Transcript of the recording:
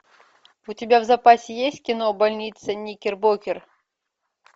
у тебя в запасе есть кино больница никербокер